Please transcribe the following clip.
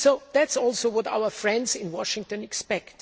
That is also what our friends in Washington expect.